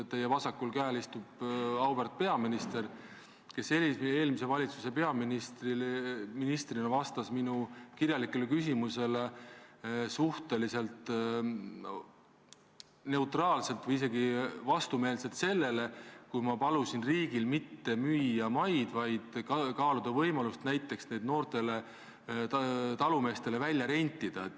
Teie vasakul käel istub auväärt peaminister, kes eelmise valitsuse peaministrina vastas minu kirjalikele küsimustele suhteliselt neutraalselt või isegi vastumeelselt, kui ma palusin riigil maid mitte müüa, vaid kaaluda võimalust näiteks need noortele talumeestele välja rentida.